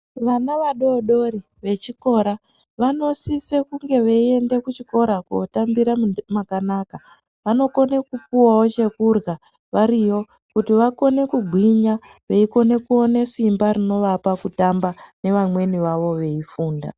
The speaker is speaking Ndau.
Vana vadodori vechikora vanosise kunge veienda kuchikora kotambira makanaka. Vanokona kupuwawo chekurya variyo kuti vakone kugwinya veikone kuone simba rinovapa kutamba nevamweni vavo veifunda.